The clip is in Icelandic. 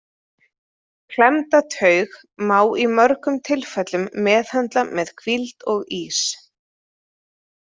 Klemmda taug má í mörgum tilfellum meðhöndla með hvíld og ís.